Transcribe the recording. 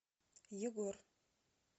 егор